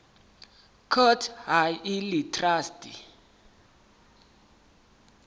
court ha e le traste